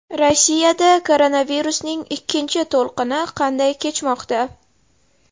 Rossiyada koronavirusning ikkinchi to‘lqini qanday kechmoqda?.